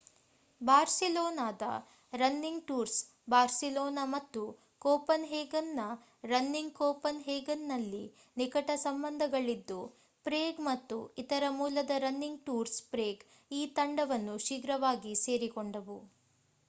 ಬಾರ್ಸಿಲೋನಾದ running tours Barcelona ಮತ್ತು ಕೋಪನ್‌ಹೇಗನ್‌ನ running ಕೋಪನ್‌ಹೇಗನ್‌ನಲ್ಲಿ ನಿಕಟ ಸಂಬಂಧಗಳಿದ್ದು ಪ್ರೇಗ್ ಮತ್ತು ಇತರ ಮೂಲದ ರನ್ನಿಂಗ್ ಟೂರ್ಸ್ ಪ್ರೇಗ್ ಈ ತಂಡವನ್ನು ಶೀಘ್ರವಾಗಿ ಸೇರಿಕೊಂಡವು